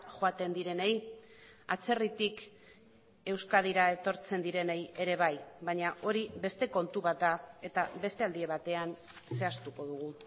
joaten direnei atzerritik euskadira etortzen direnei ere bai baina hori beste kontu bat da eta beste aldi batean zehaztuko dugu